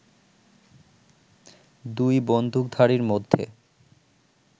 দুই বন্দুকধারীর মধ্যে